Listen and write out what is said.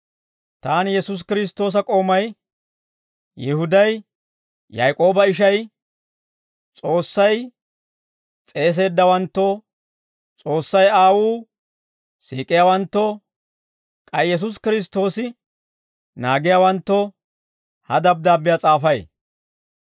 Taani Yesuusi Kiristtoosa k'oomay Yihuday, Yaak'ooba ishay, S'oossay s'eeseeddawanttoo, S'oossay Aawuu siik'iyaawanttoo, k'ay Yesuusi Kiristtoosi naagiyaawanttoo, ha dabddaabbiyaa s'aafay.